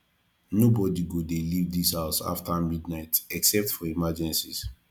nobody go dey leave dis house after midnight except for emergencies